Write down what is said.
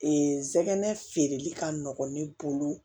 Ee n sɛgɛn feereli ka nɔgɔn ne bolo